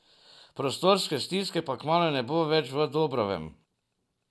Prostorske stiske pa kmalu ne bo več v Dobrovem.